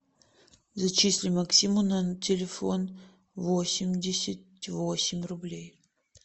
зачисли максиму на телефон восемьдесят восемь рублей